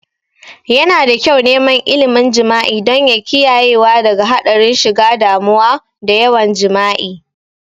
Yana da kyau neman ilmin jima'i don ya kiyayewa daga hadarin shiga damuwa da yawan jima'i